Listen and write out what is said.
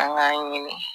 An k'a ɲini